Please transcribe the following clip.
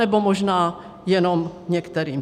Anebo možná jenom některým.